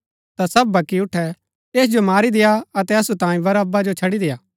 ता सब वक्की उठै ऐस जो मारी देआ अतै असु तांई बरअब्बा जो छड़ी देआ